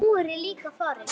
Nú er ég líka farinn.